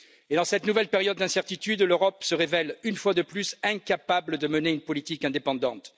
Dans cette nouvelle période d'incertitude, l'Europe se révèle une fois de plus incapable de mener une politique indépendante.